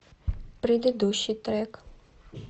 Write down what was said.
предыдущий трек